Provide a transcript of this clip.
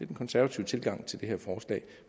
den konservative tilgang til det her forslag